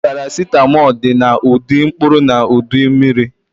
Paracetamol dị na ụdị mkpụrụ na ụdị mmiri